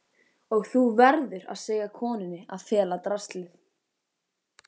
Og þú verður að segja konunni að fela draslið.